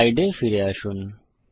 slide এ ফিরে আসুন